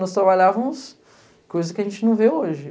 Nós trabalhávamos coisas que a gente não vê hoje.